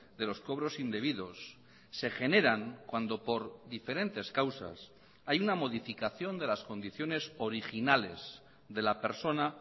de los cobros indebidos se generan cuando por diferentes causas hay una modificación de las condiciones originales de la persona